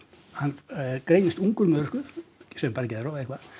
hann greinist ungur með örorku segjum bara geðrof eða eitthvað